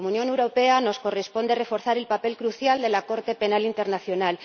Como Unión Europea nos corresponde reforzar el papel crucial de la Corte Penal Internacional.